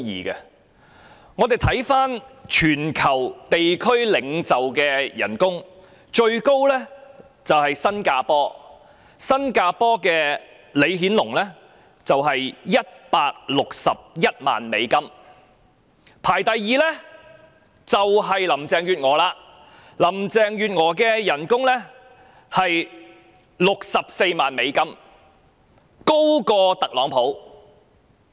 試看全球地區領袖的薪酬排名，最高的是新加坡的李顯龍，其薪酬是161萬美元。排名第二的正是林鄭月娥，她的薪酬高達64萬美元，較特朗普還要高。